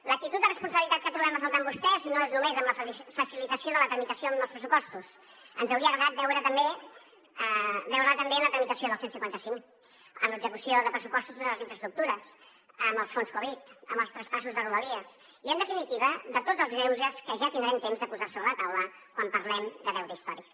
l’actitud de responsabilitat que trobem a faltar en vostès no és només en la facilitació de la tramitació dels pressupostos ens hauria agradat veure la també en la tramitació del cent i cinquanta cinc en l’execució de pressupostos de totes les infraestructures en els fons covid en els traspassos de rodalies i en definitiva de tots els greuges que ja tindrem temps de posar sobre la taula quan parlem de deute històric